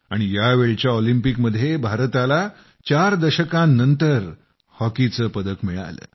आणि यावेळच्या ऑलिंपिकमध्ये भारताला चार दशकांनंतर हॉकीचं पदक मिळालं